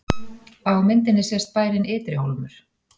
Á myndinni sést bærinn Ytri-Hólmur.